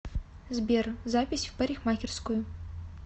сбер запись в парикмахерскую